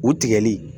U tigɛli